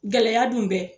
Gɛlɛya dun bɛ